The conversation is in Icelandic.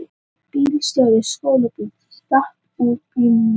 Bílstjóri skólabíls datt út úr bílnum